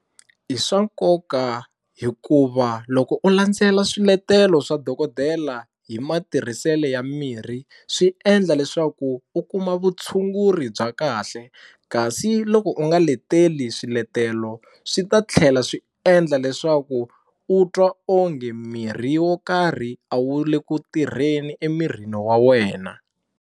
I swa nkoka hikuva loko u landzelela swiletelo swa dokodela hi matirhiselo ya mirhi swi endla leswaku u kuma vutshunguri bya kahle kasi loko u nga leteli swiletelo swi ta tlhela swi endla leswaku u twa onge mirhi wo karhi a wu le ku tirheni emirini wa wena.